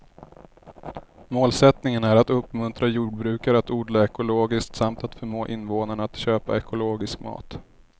Målsättningen är att uppmuntra jordbrukare att odla ekologiskt samt att förmå invånarna att köpa ekologisk mat.